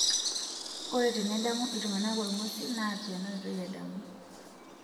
Ore tenedamu iltung'ana olngusil naa ena oitoi edamu.